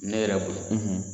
Ne yɛrɛ bolo